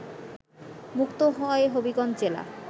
মুক্ত হয় হবিগঞ্জ জেলা